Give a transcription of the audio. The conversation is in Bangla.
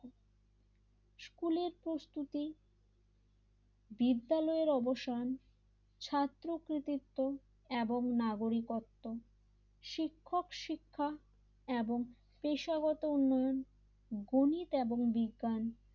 শুরুতেই বিদ্যালয় এর অবসান ছাত্র কৃতিত্ব এবং নাগরিকত্ব শিক্ষক শিক্ষা এবং পেশাগত উন্নয়ন গণিত এবং বিজ্ঞান,